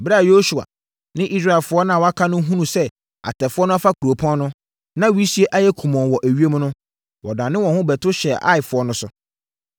Ɛberɛ a Yosua ne Israelfoɔ a wɔaka no hunuu sɛ atɛfoɔ no afa kuropɔn no, na wisie ayɛ kumɔnn wɔ ewiem no, wɔdanee wɔn ho bɛto hyɛɛ Aifoɔ no so.